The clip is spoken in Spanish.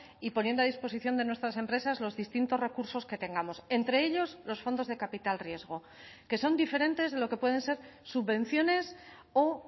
y poniendo a disposición de nuestras empresas los distintos recursos que tengamos entre ellos los fondos de capital riesgo que son diferentes de lo que pueden ser subvenciones o